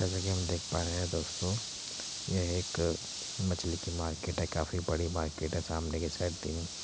जैसा की हम देख पा रहे है दोस्तों यह एक मछली की मार्किट है| काफी बड़ी मार्किट है| सामने की साइड पे --